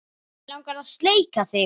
Mig langar að sleikja þig.